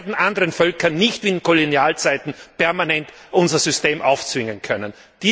Wir werden anderen Völkern nicht wie in Kolonialzeiten permanent unser System aufzwingen können.